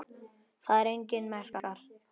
Þar eru einnig merkar